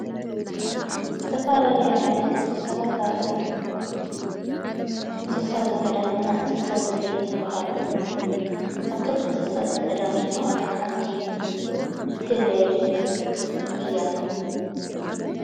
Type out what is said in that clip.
ዝተፋላዶይ ዓይነት እንስሳታት ኣለዉ። እንስሳ ዘገዳምና እንስሳ ዘቤየት ይብሃሉ። ካብቶም እንስሳ ዘገዳም ዝብሃሉ ሓንቲ ህበይ እያ።